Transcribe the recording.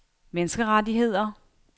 menneskerettigheder